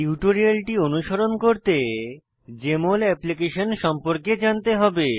টিউটোরিয়ালটি অনুসরণ করতে জেএমএল অ্যাপ্লিকেশন সম্পর্কে জানতে হবে